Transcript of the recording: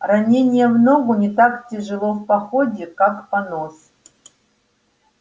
ранение в ногу не так тяжело в походе как понос